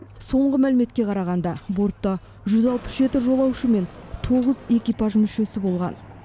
соңғы мәліметке қарағанда бортта жолаушы мен экипаж мүшесі болған